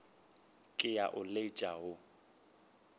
ke a o letša wo